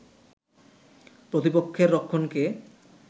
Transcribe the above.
প্রতিপক্ষের রক্ষণকে